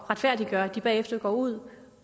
at retfærdiggøre at de bagefter går ud